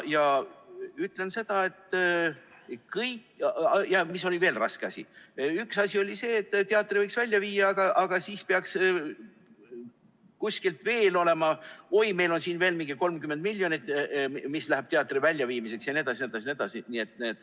Ja mis oli veel üks raske asi, see oli see, et teatri võiks sealt välja viia, aga siis peaks kuskil veel olema nii, et oi, meil on siin veel mingi 30 miljonit, mis läheb teatri väljaviimiseks jne.